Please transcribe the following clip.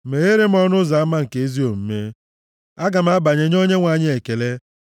Megheere m ọnụ ụzọ ama nke ezi omume; aga m abanye nye Onyenwe anyị ekele.